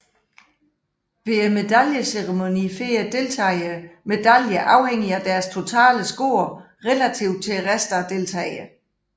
Ved medaljeceremonien får deltagerne medaljer afhængig af deres total score relativt til resten af deltagerne